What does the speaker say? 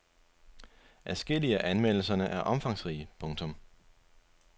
Adskillige af anmeldelserne er omfangsrige. punktum